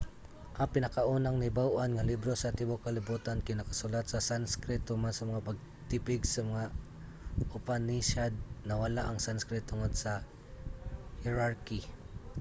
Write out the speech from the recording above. ang pinakaunang nahibaw-an nga libro sa tibuok kalibutan kay nakasulat sa sanskrit. human sa mga pagtipig sa mga upanishad nawala ang sanskrit tungod sa hierarchy